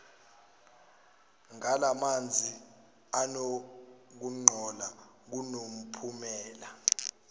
ngalamazni anokungcola kunomphumela